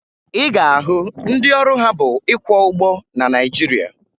Ị ga-ahụ ndị ọrụ ha bụ ịkwọ ụgbọ na Naịjirịa